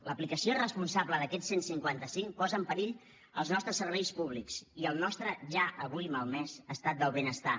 l’aplicació irresponsable d’aquest cent i cinquanta cinc posa en perill els nostres serveis públics i el nostre ja avui malmès estat del benestar